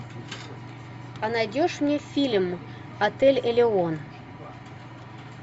а найдешь мне фильм отель элион